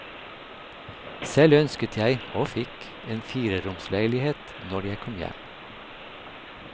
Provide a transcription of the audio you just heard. Selv ønsket jeg, og fikk, en fireromsleilighet når jeg kom hjem.